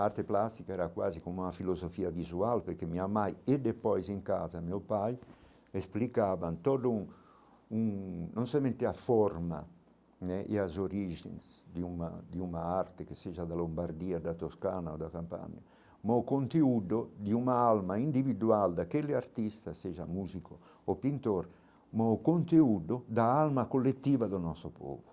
A arte plástica era quase como uma filosofia visual, porque minha mãe e depois em casa, meu pai explicavam todo um... um não somente a forma né e as origens de uma de uma arte que seja da Lombardia, da Toscana ou da Campania, mas o conteúdo de uma alma individual daquele artista seja músico ou pintor, mas o conteúdo da alma coletiva do nosso povo.